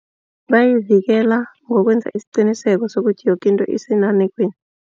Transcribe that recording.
Bayivikela ngokwenza isiqiniseko sokuthi yoke into isenanekweni.